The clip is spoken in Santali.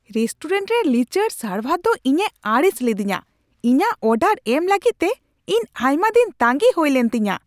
ᱨᱮᱥᱴᱩᱨᱮᱱᱴ ᱨᱮ ᱞᱤᱪᱟᱹᱲ ᱥᱟᱨᱵᱷᱟᱨ ᱫᱚ ᱤᱧᱮ ᱟᱹᱲᱤᱥ ᱞᱤᱫᱤᱧᱟ ᱾ ᱤᱧᱟᱹᱜ ᱚᱰᱟᱨ ᱮᱢ ᱞᱟᱹᱜᱤᱫ ᱛᱮ ᱤᱧ ᱟᱭᱢᱟ ᱫᱤᱱ ᱛᱟᱸᱜᱤ ᱦᱩᱭ ᱞᱮᱱ ᱛᱤᱧᱟᱹ ᱾